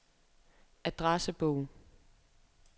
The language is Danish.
adressebog